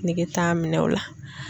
Nege t'a minɛ o la.